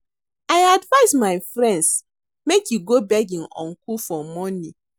I advice my friend make he go beg im uncle for money